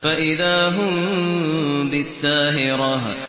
فَإِذَا هُم بِالسَّاهِرَةِ